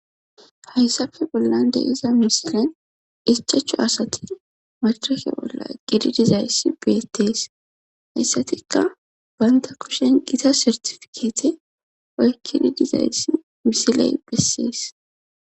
Hayssafe bollan deiza misilen ichachu asati matahe bolla gidi dizayssi beettees hayssatikka baynta kushen gita sertifikeete oykkididizayssi misiley bessiis